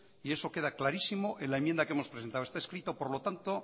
y eso quedá clarísimo en la enmienda que hemos presentado está escrito por lo tanto